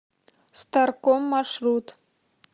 старком маршрут